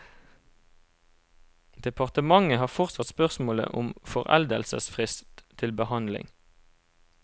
Departementet har fortsatt spørsmålet om foreldelsesfrist til behandling.